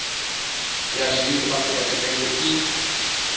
ya zwithu afrika tshipembe i